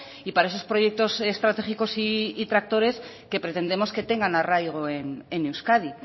y para esos proyectos estratégicos y tractores que pretendemos que tengan arraigo en euskadi